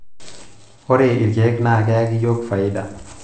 ore ilkeek naa keyaki iyiook faida